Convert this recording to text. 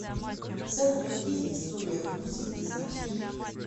салют какие история грузии ты знаешь